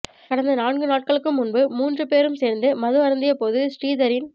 கடந்த நான்கு நாட்களுக்கு முன் மூன்று பேரும் சேர்ந்து மது அருந்திய போது ஸ்ரீதரின்